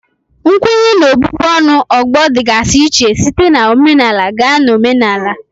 Nkwenye na ọbụbụ ọnụ ọgbọ dịgasị iche site na omenala gaa na omenala